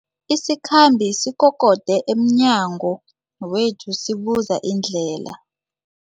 Isikhambi sikokode emnyango wethu sibuza indlela.